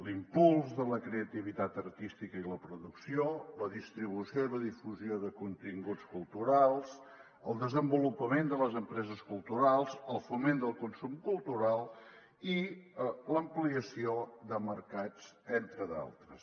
l’impuls de la creativitat artística i la producció la distribució i la difusió de continguts culturals el desenvolupament de les empreses culturals el foment del consum cultural i l’ampliació de mercats entre d’altres